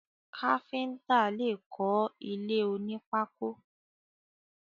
Káfíntà lè kọ ilé oní pákò.